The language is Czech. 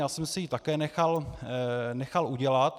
Já jsem si ji také nechal udělat.